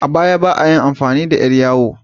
A baya, ba ayi amfani da ƴar yawo ba